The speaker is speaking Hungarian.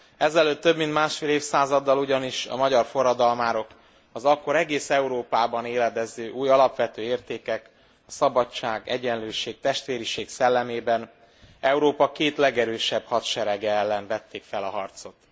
Ezelőtt több mint másfél évszázaddal ugyanis a magyar forradalmárok az akkor egész Európában éledező új, alapvető értékek, a szabadság, egyenlőség, testvériség szellemében Európa két legerősebb hadserege ellen vették fel a harcot.